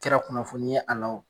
kɛra kunnafoni ye a la o